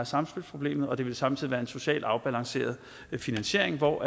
samspilsproblemet og det vil samtidig være en socialt afbalanceret finansiering hvor